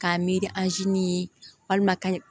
K'a miiri ni walima ka